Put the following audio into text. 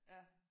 Ja